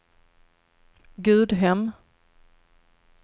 Gudhem